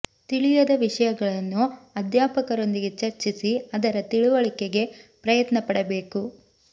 ತಿಳಿಯದ ವಿಷಯ ಗಳನ್ನು ಅಧ್ಯಾಪಕರೊಂದಿಗೆ ಚರ್ಚಿಸಿ ಅದರ ತಿಳುವಳಿಕೆಗೆ ಪ್ರಯತ್ನ ಪಡಬೇಕು